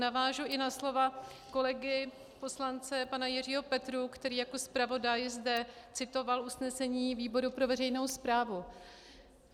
Navážu i na slova kolegy poslance pana Jiřího Petrů, který jako zpravodaj zde citoval usnesení výboru pro veřejnou správu.